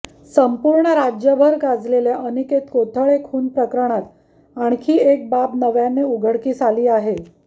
संपूर्ण राज्यभर गाजलेल्या अनिकेत कोथळे खून प्रकरणात आणखी एक बाब नव्याने उघडकीस आली आहे